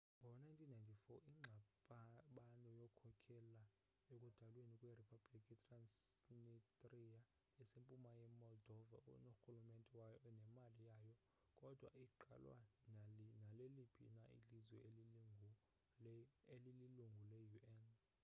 ngo 1994 ingxabano yakhokhela ekudalweni kwe republiki i-transnistria esempuma ye-moldova enorhulumente wayo nemali yayo kodwa ayigqalwa naleliphi na ilizwe elililungu le un